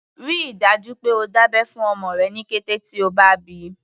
Rí i dájú pé o dá abẹ́ fún ọmọ rẹ ní kété tí o bá bíi.